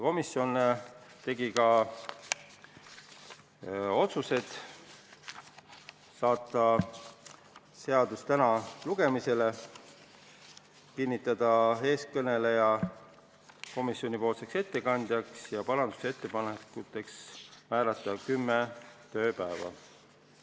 Komisjon tegi ka otsused: saata seaduseelnõu lugemisele tänaseks, kinnitada teie ees kõneleja komisjonipoolseks ettekandjaks ja parandusettepanekuteks määrata kümme tööpäeva.